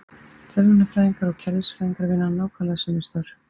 Tölvunarfræðingar og kerfisfræðingar vinna nákvæmlega sömu störf.